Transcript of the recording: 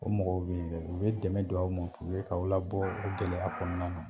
O mɔgɔw bɛ yen dɛ, o bɛ dɛmɛ don aw ma, puruke k'aw la bɔ gɛlɛya kɔnɔna na